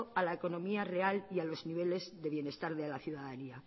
a la economía real y a los niveles de bienestar de la ciudadanía